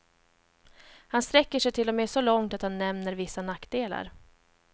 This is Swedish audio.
Han sträcker sig till och med så långt att han nämner vissa nackdelar.